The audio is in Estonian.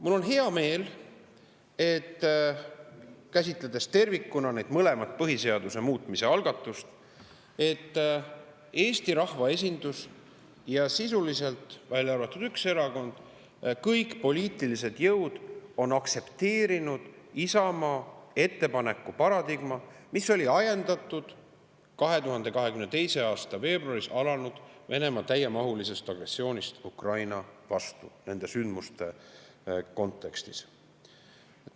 Mul on hea meel, et käsitledes tervikuna neid mõlemat põhiseaduse muutmise algatust, Eesti rahvaesindus ja sisuliselt kõik poliitilised jõud, välja arvatud üks erakond, on aktsepteerinud Isamaa ettepaneku paradigmat, mis oli ajendatud 2022. aasta veebruaris alanud Venemaa täiemahulisest agressioonist Ukraina vastu, nende sündmuste kontekstis.